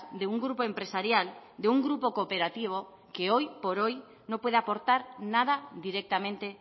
de un grupo empresarial de un grupo cooperativo que hoy por hoy no puede aportar nada directamente